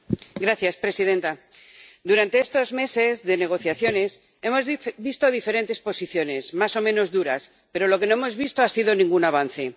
Señora presidenta, durante estos meses de negociaciones hemos visto diferentes posiciones, más o menos duras, pero lo que no hemos visto ha sido ningún avance.